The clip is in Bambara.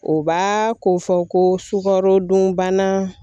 O b'a ko fɔ ko sukarodunbana